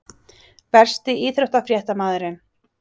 Versti íþróttafréttamaðurinn?